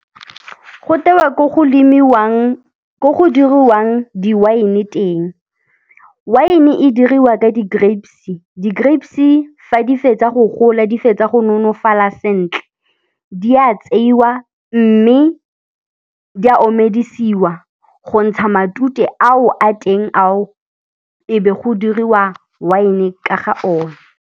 Go tewa ko go lemiwang, ko go diriwang di-wine teng, wine diriwa ka di-grapes. Di-grapes fa di fetsa go gola di fetsa go nonofala sentle, di a tseiwa mme di a omedisiwa go ntsha matute ao a teng ao ebe go diriwa wine ka ga one.